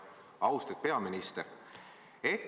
Austatud peaminister!